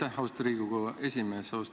Aitäh, austatud Riigikogu esimees!